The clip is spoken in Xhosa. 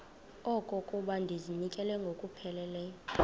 okokuba ndizinikele ngokupheleleyo